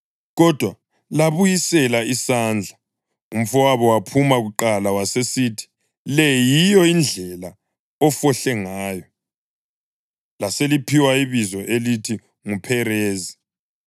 Kodwa labuyisela isandla, umfowabo waphuma kuqala, wasesithi, “Le yiyo indlela ofohle ngayo!” Laseliphiwa ibizo elithi nguPherezi.